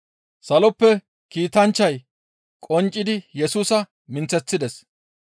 Saloppe Kiitanchchay qonccidi Yesusa minththeththides.